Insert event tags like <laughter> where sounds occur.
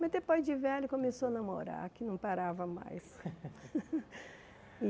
Mas depois de velho começou a namorar, que não parava mais. <laughs>